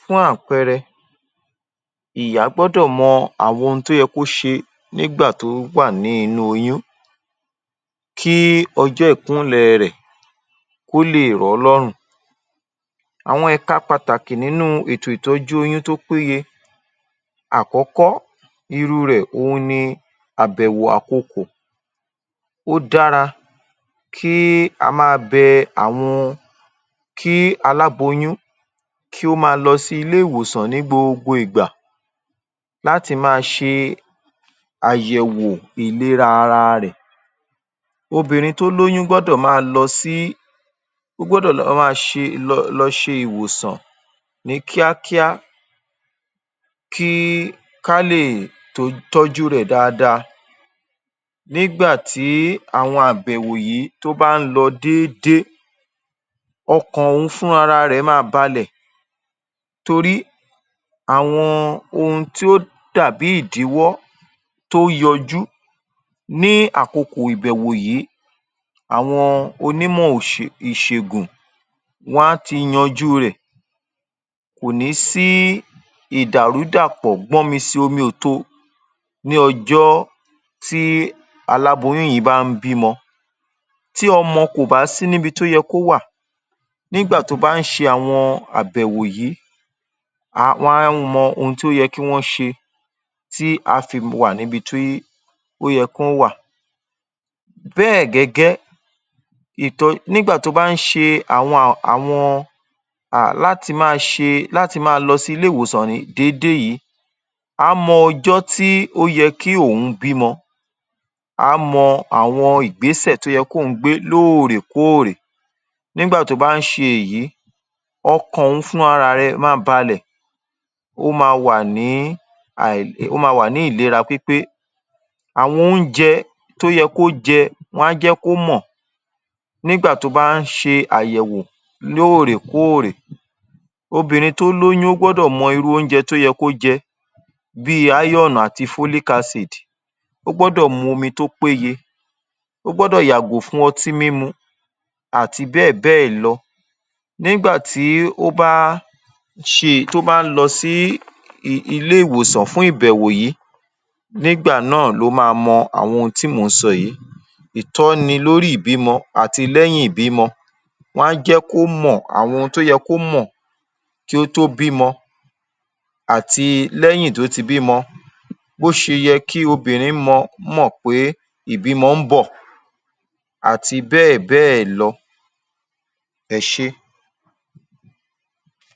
fún àpẹẹrẹ ìyá gbọ́dọ̀ mọ àwọn ohun tí ó ye kó ṣẹ nígbà tó wà ní inú oyún kí ọjọ́ ìkúnlẹ̀ ẹ rẹ̀ kó lè rọ̀ ọ́ lọ́rùn. Àwọn ẹ̀ka pàtàkì nínú u ètò ìtọ́jú oyún tó péye àkọ́kọ́ irú rẹ̀ òhun ni àbẹ̀wò àkokò ó dára kí a ma bẹ àwọn ó dára kí alábóyún kí ó máa lọ sí ilé ìwòsàn ní gbogbo ìgbà láti máa ṣe àyẹ̀wò ìlera ara rẹ̀. Obìnrin tó lóyún gbọ́dọ̀ ma lọ sí ó gbọ́dọ̀ lọ ma ṣe lọ ṣe ìwòsàn ní kíákíá kí ká lè tọ́jú u rẹ̀ daada nígbà tí àwọn àbẹ̀wò yìí tó bá ń lọ déédé ọkàn òun fúnra rẹ̀ máa balẹ̀ torí àwọn ohun ti ó dà bí ìdíwọ́ tó yọjú ní àkokò ìbẹ̀wò yìí àwọn onímọ̀ ìṣègùn wọ́n á ti yanjú rẹ̀ kò ní sí ìdàrúdàpọ̀ gbọ́nmi-si-omi-ò-to ní ọjọ́ tí aláboyún yìí bá ń bímọ tí ọmọ kò bá sí ni ibi tó yẹ kó wà nígbà tí wọ́n bá ń ṣe àbẹ̀wò yìí wọ́n á wọn ohun tí ó yẹ kí wọ́n ṣe tí á fi wà ní ibi tó yẹ kó wà. Bẹ́ẹ̀ gẹ́gẹ́ ìtọ nígbà tó bá ń ṣe àwọn láti máa ṣe láti máa lọ sí ilé ìwòsàn déédé yìí á mọ ọjọ́ tí ó yẹ kí òun bímọ, á mọ àwọn ìgbésẹ̀ tó yẹ ki ́ òun gbé lóòrèkóòrè nígbà tó bá ń ṣe èyí ọkàn òun fúnra ra rẹ máa balẹ̀ ó ma wà ní um ìlera pípé àwọn oúnjẹ tó yẹ kó jẹ wọ́n á jẹ́ kó mọ̀ nígbà tó bá ń ṣe àyẹ̀wò lóòrèkóòrè. Obìnrin tó lóyún gbọ́dọ̀ mọ irú oúnjẹ tó yẹ kó jẹ bí i iron àti folic acid ó gọ́dọ̀ momi tó péye ó gbọ́dọ̀ yàgò fuhn ọtí mímu àti bẹ́ẹ̀ bẹ́ẹ̀ lọ. Nígbà tí ó bá ṣe tí ó bá lọ sí ilé ìwòsàn fún ìbèwò yìí nígbà náà ló ma mọ àwọn ohun tí mò ń sọ yìí ìtọ́ni lórí ìbímọ àti lẹ́yìn ìbímọ wọ́n á jẹ́ kó mò àwọn ohun tó yẹ kó mọ̀ kí ó to bímọ àti lẹ́yìn tó ti bímọ bí ó ṣe yẹ kí obìnrin mọ̀ pé ìbímọ ń bọ̀ àti bẹ́ẹ̀ bẹ́ẹ̀ lọ. Ẹ ṣé.